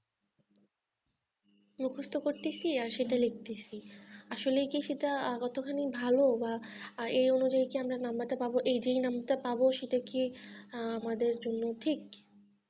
মুখস্ত করছি আর সেটা লিখছি আসলে সেটা কতখানি ভালো বা এই অনুযায়ী কি আমরা number টা পাবো এই যে number টা পাবো সেটা কি আমাদের জন্য ঠিক